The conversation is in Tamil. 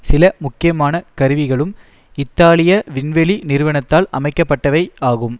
சில முக்கியமான கருவிகளும் இத்தாலிய விண்வெளி நிறுவனத்தால் அமைக்கப்பட்டவை ஆகும்